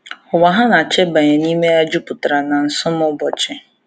Ụwa ha na-achọ ịbanye n’ime ya juputara na isom ụbọchi.